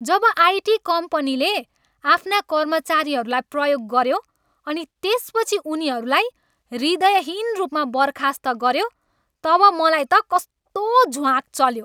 जब IT कम्पनीले आफ्ना कर्मचारीहरूलाई प्रयोग गऱ्यो अनि त्यसपछि उनीहरूलाई हृदयहीन रूपमा बर्खास्त गऱ्यो तब मलाई त कस्तो झ्वाँक् चल्यो।